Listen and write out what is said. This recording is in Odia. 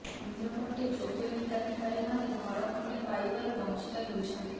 ଅନ୍ୟପଟେ ଯୋଗ୍ୟ ହିତାଧିକାରୀମାନେ ଘରେ ଖଣ୍ଡେ ପାଇବାରୁ ବଂଚିତ ହେଉଛନ୍ତି